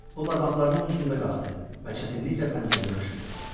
O barmaqlarının ucunda qalxdı və çətinliklə pəncərəni açdı.